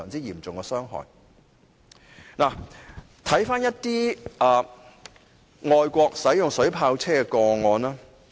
現在回顧一些外國使用水炮車的個案。